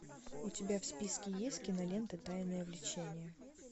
у тебя в списке есть кинолента тайное влечение